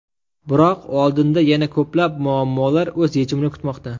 Biroq oldinda yana ko‘plab muammolar o‘z yechimini kutmoqda.